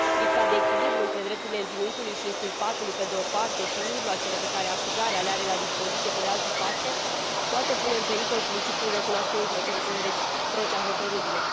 Lipsa de echilibru între drepturile învinuitului și inculpatului, pe de o parte, și mijloacele pe care acuzarea le are la dispoziție, pe de altă parte, poate pune în pericol principiul recunoașterii reciproce a hotărârilor.